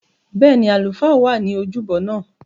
Bẹ́ẹ̀ni, àlùfáà wà ní ojúbọ náà